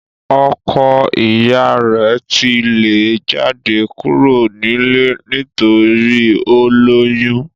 ọkọ iya rẹ̀ ti lé e jáde kúrò nílé nítorí ó lóyún